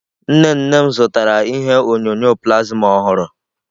Nne nne m zụtara ihe onyonyo plasma ọhụrụ.